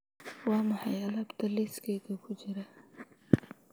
waa maxay alaabta liiskayga ku jira